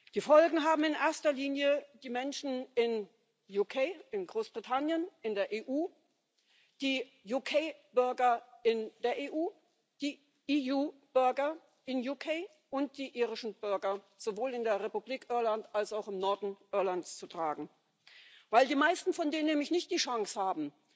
Die Folgen haben in erster Linie die Menschen in Großbritannien, in der EU, die UK-Bürger in der EU, die EU-Bürger in Großbritannien und die irischen Bürger sowohl in der Republik Irland als auch im Norden Irlands zu tragen, weil die meisten von denen nämlich nicht die Chance haben,